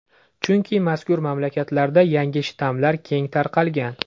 Chunki mazkur mamlakatlarda yangi shtammlar keng tarqalgan.